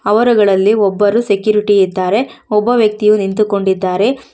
ಅವರಗಳಲ್ಲಿ ಒಬ್ಬರು ಸೆಕ್ಯೂರಿಟಿ ಇದ್ದಾರೆ ಒಬ್ಬ ವ್ಯಕ್ತಿಯು ನಿಂತುಕೊಂಡಿದ್ದಾರೆ.